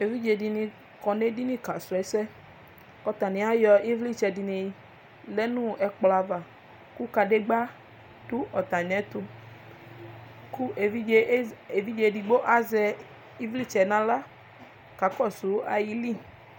Evidze dɩnɩ kɔ nʋ edini kasrɔ ɛsɛ. Atanɩ ayɔ ɩvlɩtsɛ dɩnɩ lɛ nʋ ɛkplɔ ava kʋ kadegbǝ dʋ amɩɛtʋ kʋ evidze e evidze edigbo azɛ ɩvlɩtsɛ nʋ aɣla kakɔsʋ ayili.